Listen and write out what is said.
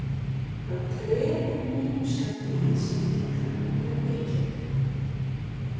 Hann treður mínum skammti í sig líka ef ég kem ekki.